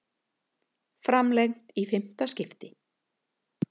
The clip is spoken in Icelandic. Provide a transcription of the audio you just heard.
Framlengt í fimmta skiptið